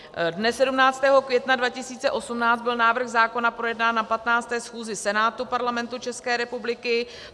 Dne 17. května 2018 byl návrh zákona projednán na 15. schůzi Senátu Parlamentu České republiky.